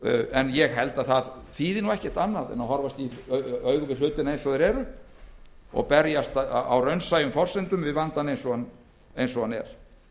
en ég held að það þýði nú ekkert annað en að horfast í augu við hlutina eins og þeir eru og berjast á raunsæjum forsendum við vandann eins og hann er